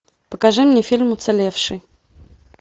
покажи мне фильм уцелевший